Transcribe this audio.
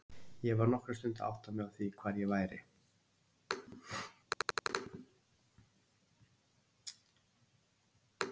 Ég var nokkra stund að átta mig á því hvar ég væri.